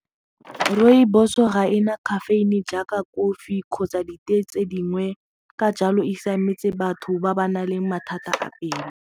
Rooibos ga ena caffeine jaaka kofi kgotsa ditee tse dingwe ka jalo e siametse batho ba ba nang le mathata a pelo.